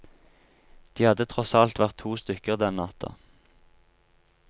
De hadde tross alt vært to stykker den natta.